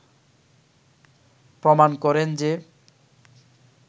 প্রমাণ করেন যে